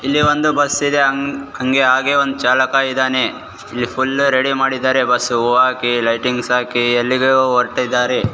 ಇಲ್ಲಿ ಒಂದು ಬಸ್ಸಿದೆ ಹಂಗ್ ಹಾಗೆ ಒಂದು ಚಾಲಕ ಇದಾನೆ ಇಲ್ಲಿ ಫುಲ್ ರೆಡಿ ಮಾಡಿದಾರೆ ಬಸ್ಸ್ ಹೋಗಾಕೆ ಲೈಟಿಂಗ್ ಹಾಕಿ ಎಲ್ಲಿಗೊ ಹೋಗ್ತಾ ಇದಾರೆ.